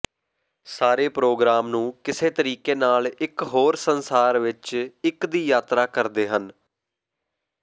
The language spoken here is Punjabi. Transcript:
ਸਾਰੇ ਪ੍ਰੋਗਰਾਮ ਨੂੰ ਕਿਸੇ ਤਰੀਕੇ ਨਾਲ ਇਕ ਹੋਰ ਸੰਸਾਰ ਵਿੱਚ ਇੱਕ ਦੀ ਯਾਤਰਾ ਕਰਦੇ ਹਨ